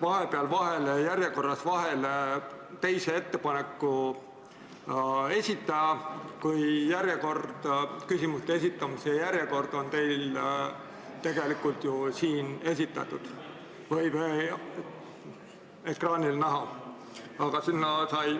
vahepeal järjekorras vahele teise ettepaneku esitaja, kui küsimuste esitamise järjekord on teil tegelikult siin ekraanil näha?